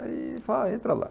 Aí, fala, entra lá.